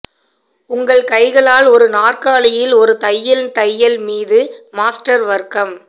உங்கள் கைகளால் ஒரு நாற்காலியில் ஒரு தையல் தையல் மீது மாஸ்டர் வர்க்கம்